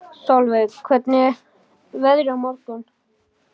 Solveig, hvernig er veðrið á morgun?